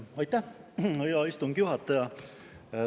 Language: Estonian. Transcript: Aitäh, hea istungi juhataja!